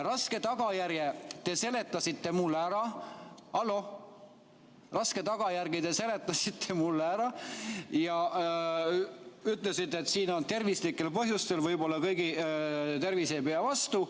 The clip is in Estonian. Raske tagajärje te seletasite mulle ära ja ütlesite, et siin on tervislikud põhjused, võib-olla kõigi tervis ei pea vastu.